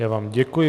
Já vám děkuji.